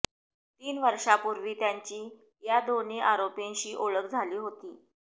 तीन वर्षांपूर्वी त्यांची या दोन्ही आरोपींशी ओळख झाली होती